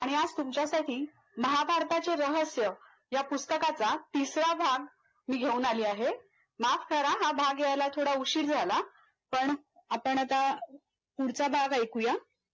मी आज तुमच्यासाठी महाभारताचे रहस्य या पुस्तकाचा तिसरा भाग मी घेवून आली आहे, माफ करा हा भाग घ्यायला थोडा उशीर झाला पण आपण आता पुढचा भाग एकू या